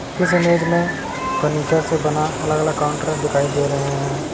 इस इमेज में फर्नीचर से बना अलग-अलग काउंटर दिखाई दे रहे हैं।